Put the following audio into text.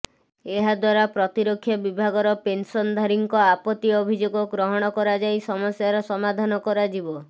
ଏହାଦ୍ୱାରା ପ୍ରତିରକ୍ଷା ବିଭାଗର ପେନସନଧାରୀଙ୍କ ଆପତ୍ତି ଅଭିଯୋଗ ଗ୍ରହଣ କରାଯାଇ ସମସ୍ୟାର ସମାଧାନ କରାଯିବ